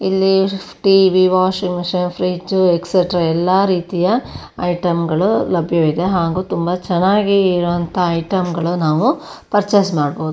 ಇಲ್ಲಿ TV washing machine fridge extra ಎಲ್ಲಾ ರೀತಿಯ ಐಟಂಗಳು ಲಭ್ಯವಿದೆ ಹಾಗು ತುಂಬಾ ಚನ್ನಾಗಿ ಇರುವಂತ ಐಟಂಗಳು ನಾವು ಪರ್ಚೆಸ್ ಮಾಡಬಹುದು.